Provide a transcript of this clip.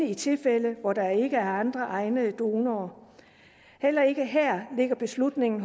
i tilfælde hvor der ikke er andre egnede donorer heller ikke her ligger beslutningen